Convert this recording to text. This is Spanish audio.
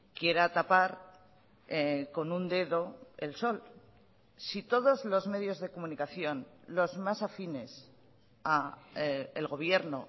quiera tapar con un dedo el sol si todos los medios de comunicación los más afines a el gobierno